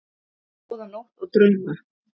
Góða nótt og drauma.